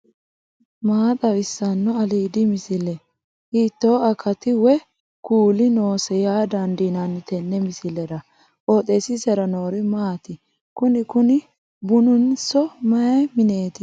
maa xawissanno aliidi misile ? hiitto akati woy kuuli noose yaa dandiinanni tenne misilera? qooxeessisera noori maati? kuni kuni bununso mayi mneeti